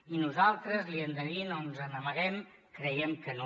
i nosaltres li hem de dir no ens en amaguem creiem que no